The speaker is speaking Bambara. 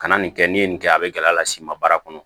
Ka na nin kɛ n'i ye nin kɛ a bɛ gɛlɛya las'i ma baara kɔnɔ